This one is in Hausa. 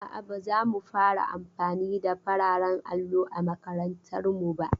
A'a, ba za mu fara amfani da fararen allo a makarantar mu ba.